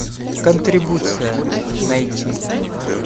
контрибуция найти